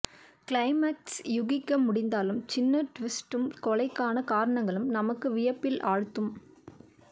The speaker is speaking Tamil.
கிளைமாக்ஸ் யூகிக்க முடிந்தாலும் சின்ன டுவிஸ்ட்டும் கொலைக்கான காரணங்களும் நமக்கு வியப்பில் ஆழ்த்தும்